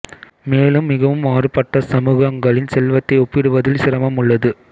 மேலும் மிகவும் மாறுபட்ட சமூகங்களின் செல்வத்தை ஒப்பிடுவதில் சிரமம் உள்ளது